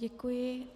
Děkuji.